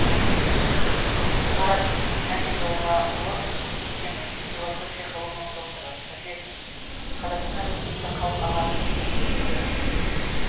марат әбидоллаұлы биекенов философия ғылымының докторы профессор қазақстан республикасы халық ағарту ісінің үздігі